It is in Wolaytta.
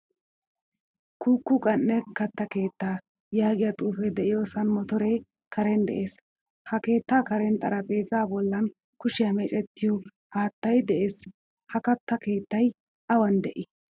Kuuku qan'e katta keettaa yaagiyaa xuufe de'iyosan motore karen de'ees. Ha keetta karen xaraphphezza bollan kushiya meecettiyo haattaay de'ees. Ha katta keettay awan de'i?